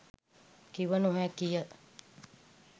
කිව නොහැකිය.